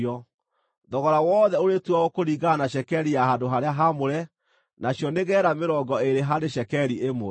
Thogora wothe ũrĩtuagwo kũringana na cekeri ya handũ-harĩa-haamũre, nacio nĩ geera mĩrongo ĩĩrĩ harĩ cekeri ĩmwe.